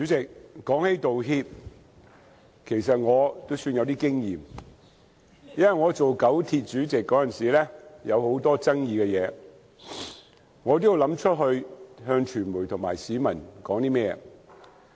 主席，關於道歉，其實我也算有經驗，因為我擔任九廣鐵路公司主席時曾面對很多具爭議的事情，我也要思考如何對傳媒和市民作出回應。